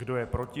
Kdo je proti?